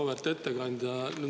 Auväärt ettekandja!